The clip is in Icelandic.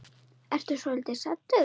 Ertu svolítið saddur?